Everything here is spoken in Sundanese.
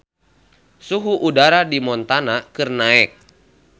Suhu udara di Montana keur naek